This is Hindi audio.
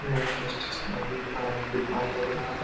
यह एक स्टेशनरी का दुकान लग रहा है।